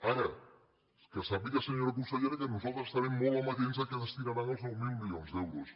ara que sàpiga senyora con·sellera que nosaltres estarem molt amatents a què des·tinaran els nou mil milions d’euros